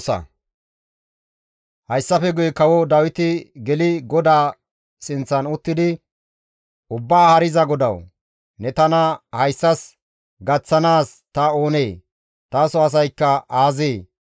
Hayssafe guye kawo Dawiti geli GODAA sinththan uttidi, «Ubbaa Haariza GODAWU! Ne tana hayssas gaththanaas ta oonee? Taso asaykka aazee?